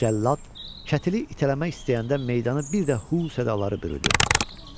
Cəllad kətili itələmək istəyəndə meydanı bir də “Hu” sədaları bürüdü.